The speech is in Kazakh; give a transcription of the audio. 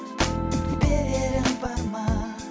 берерім бар ма